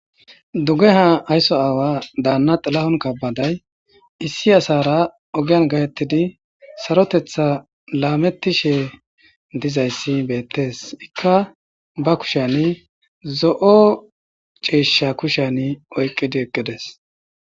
duggha ha aysso aawa daanna xilahon kabaday issi asara ogiyan gatettidi sarotetha laametti she dizayssi beettees ikka ba kushani zo7o ceeshsha kushan oyqqidi eqqides